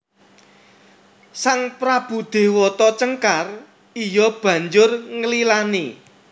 Sang prabu Déwata Cengkar iya banjur nglilani